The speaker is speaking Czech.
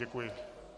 Děkuji.